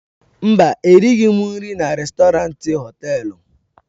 Mba, erighị m nri na rèstọrantị họtelu.